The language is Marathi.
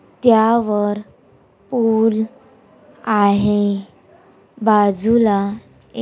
क्यावर पुर आाहे बाजूला ए--